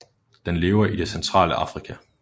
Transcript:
Den lever i det centrale Afrika